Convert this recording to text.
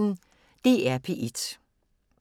DR P1